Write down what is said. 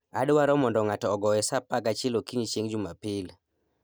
adwaro mondo ng'ato ogoye sa 11 okinyi chieng' Jumapil